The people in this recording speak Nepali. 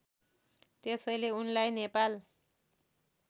त्यसैले उनलाई नेपाल